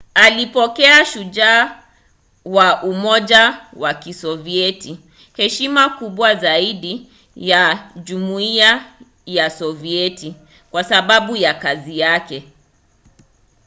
alipokea ‘shujaa wa umoja wa kisovieti’ heshima kubwa zaidi ya jumuiya ya sovieti kwa sababu ya kazi yake